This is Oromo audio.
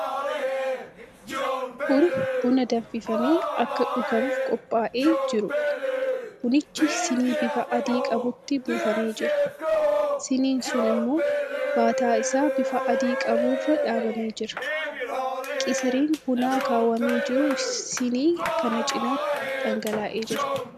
Kun buna danfifamee akka dhugamuuf qophaa'ee jiruudha. Bunichi sinii bifa adii qabutti buufamee jira. Siniin sun immoo baataa isaa bifa adii qabu irra dhaabamee jira. Qisiriin bunaa akaawamee jiru sinii kana cinaan dhangala'ee jira.